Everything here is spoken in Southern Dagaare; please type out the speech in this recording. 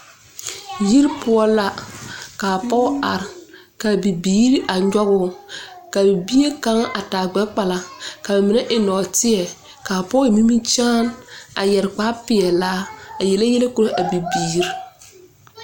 Yiri pou la ka poɔ arẽ ka biiri a nyuguu ka bie kang a taa gbɛ kpala ka mene en nɔɔtei kaa poɔ en nimikyaane yeri kpare peɛlaa a yele yele kuraa a bibiiri.